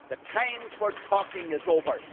The time for talking is over.